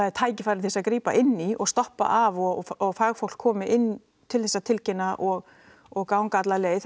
er tækifæri til þess að grípa inn í og stoppa af og og fagfólk komi inn til þess að tilkynna og og ganga alla leið